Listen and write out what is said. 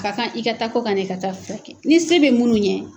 Ka kan i ka taa kɔ ka ka taa furakɛ ni se bɛ minnu ɲɛ.